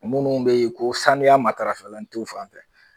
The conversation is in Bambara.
Munnu bɛ ye ko sanuya matarafalen tɛ u fan fɛ.